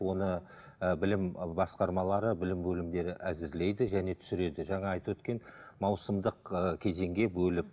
оны ііі білім басқармалары білім бөлімдері әзірлейді және түсіреді жаңа айтып өткен маусымдық ы кезеңге бөліп